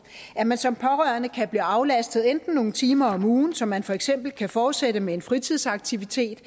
at man som pårørende kan blive aflastet enten nogle timer om ugen så man for eksempel kan fortsætte med en fritidsaktivitet